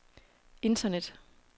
internet